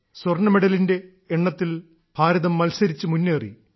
സ്വർണ്ണ മെഡലിന്റെ എണ്ണത്തിൽ ഭാരതം മത്സരിച്ച് മുന്നേറി